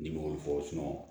Ni m'o fɔ